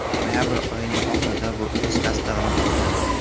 Noyabr oyining oxirida bu o‘z tasdig‘ini topdi.